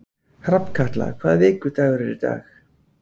Hrafnkatla, hvaða vikudagur er í dag?